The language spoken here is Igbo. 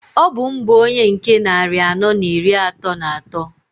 Ọ bụ m bu onye nke nnari anọọ n'iri atọọ n'atọọ.